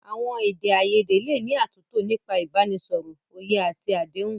Àwọn èdè àìyedè lè ní àtúntò nípa ìbánisọ̀rọ̀, òye àti àdéhùn.